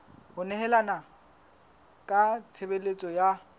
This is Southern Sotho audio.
ho nehelana ka tshebeletso ya